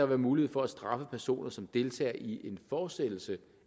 være mulighed for at straffe personer som deltog i en fortsættelse